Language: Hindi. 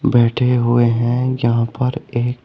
बैठे हुए है यहां पर ये।